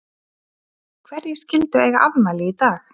Hverjir skyldu eiga afmæli í dag?